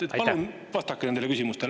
Palun vastake nendele küsimustele.